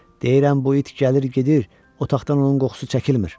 Deyirəm bu it gəlir-gedir, otaqdan onun qoxusu çəkilmir.